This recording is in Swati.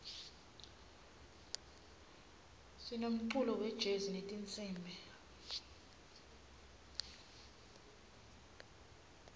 sinemculo wejezi wetinsimbi